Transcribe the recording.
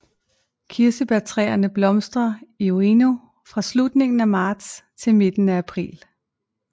Kirsebærtræerne blomstrer i Ueno fra slutningen af marts til midten af april